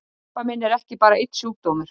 Krabbamein er ekki bara einn sjúkdómur.